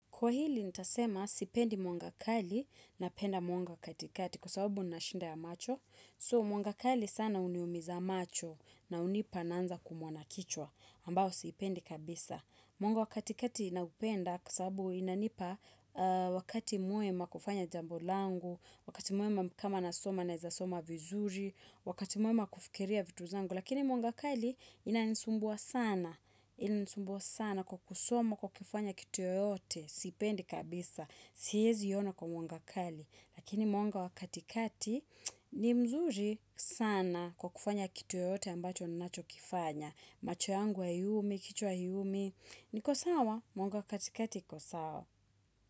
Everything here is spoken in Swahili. Kwa hili nitasema sipendi mwanga kali napenda mwanga wa katikati kwa sababu nina shinda ya macho. So mwanga kali sana huniumiza macho na hunipa naanza kuumwa na kichwa ambao sipendi kabisa. Mwanga wa katikati naupenda kwa sababu inanipa wakati mwema kufanya jambo langu, wakati mwema kama nasoma naweza soma vizuri, wakati mwema kufikiria vitu zangu. Lakini mwanga kali inanisumbua sana, inanisumbua sana kwa kusoma kwa kifanya kitu yoyote, sipendi kabisa, siwezi ona kwa mwanga kali. Lakini mwanga wa katikati ni mzuri sana kwa kufanya kitu yoyote ambacho ninacho kifanya. Macho yangu haiumi, kichwa haiumi, niko sawa, mwanga wa katikati iko sawa.